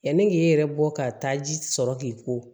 Yanni k'i yɛrɛ bɔ ka taa ji sɔrɔ k'i ko